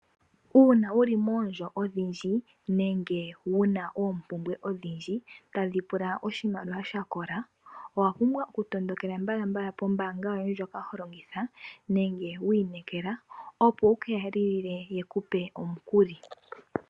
Uuna wu li moondjo odhindji, nenge wuna oompumbwe odhindji, tadhi pula oshimaliwa shakola, owa pumbwa okutondokela mbala kombaanga yoye ndjoka holongitha, nenge wi ineekela, opo wukeya lilile omukuli.